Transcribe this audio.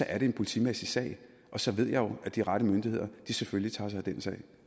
er det en politimæssig sag og så ved jeg jo at de rette myndigheder selvfølgelig tager sig af den sag